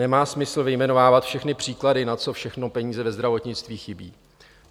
Nemá smysl vyjmenovávat všechny příklady, na co všechno peníze ve zdravotnictví chybějí.